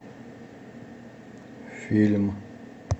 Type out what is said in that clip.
фильм